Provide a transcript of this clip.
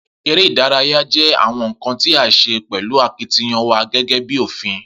Eré ìdárayá jẹ́ àwọn nkan tí á se pẹ̀lú akitiyan wa gégé bí ófín